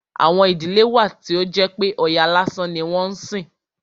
Àwọn ìdílé wà tí ó jẹ́ pé Ọya lásán ni wọ́n ń sìn.